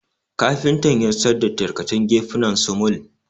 Kafinta yassar da tarkacen gefuna sumul